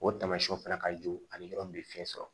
O taamasiyɛnw fana ka jugu ani yɔrɔ min bɛ fiɲɛ sɔrɔ